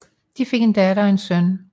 De fik en datter og en søn